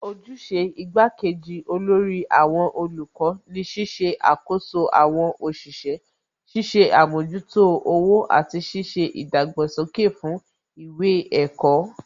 Ojúṣe igbá kejì olórí àwọn olùkọ́ ni ṣíṣe àkoso àwọn òṣìṣẹ́, ṣiṣẹ́ àmójútó owó àti ṣíṣe ìdàgbàsókè fún ìwé ẹ̀kọ́